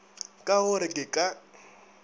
ka go re ke ka